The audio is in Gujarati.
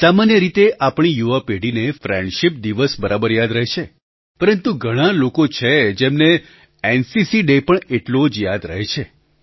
સામાન્ય રીતે આપણી યુવા પેઢીને ફ્રેન્ડશિપ દિવસ બરાબર યાદ રહે છે પરંતુ ઘણા લોકો છે જેમને એનસીસી ડે પણ એટલો જ યાદ રહે છે